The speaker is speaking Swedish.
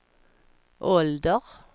ålder